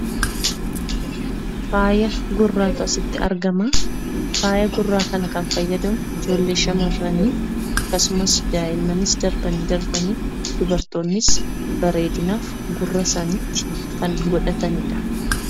Faaya gurraatu as irratti argama. Faayaa gurraa kana kan fayyadamu ijoolle shamarranii akkasuma daa'immanis darbanii darbanii darbanii dubartoonnis bareedinaaf gurra isaaniitti kan godhatanidha.